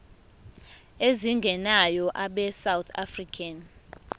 ezingenayo abesouth african